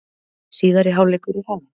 Síðari hálfleikur er hafinn